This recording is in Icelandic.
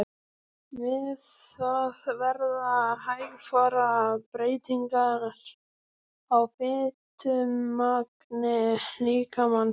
Við það verða hægfara breytingar á fitumagni líkamans.